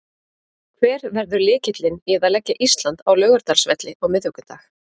Hver verður lykillinn í að leggja Ísland á Laugardalsvelli á miðvikudag?